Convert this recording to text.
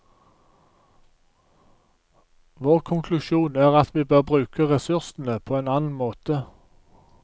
Vår konklusjon er at vi bør bruke ressursene på en annen måte.